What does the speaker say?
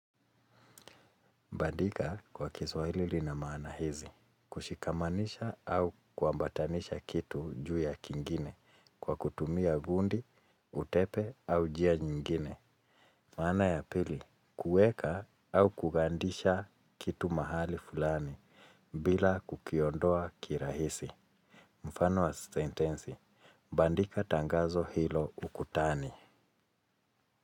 Bandika, kwa kiswahili lina maana hizi, kushikamanisha au kuambatanisha kitu juu ya kingine kwa kutumia gundi, utepe au jia nyingine. Maana ya pili, kuweka au kugandisha kitu mahali fulani, bila kukiondoa kirahisi. Mfano wa sentensi, bandika tangazo hilo ukutani.